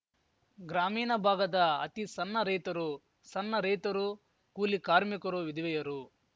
ಗ್ರಾಮೀನ ಭಾಗದ ಅತಿ ಸನ್ನ ರೈತರು ಸನ್ನ ರೈತರು ಕೂಲಿ ಕಾರ್ಮಿಕರು ವಿಧವೆಯರು